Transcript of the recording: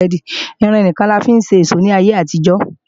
Irin nìkan ni a fi ń ṣe ìṣó ní ayé àtijó